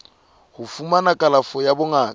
ho fumana kalafo ya bongaka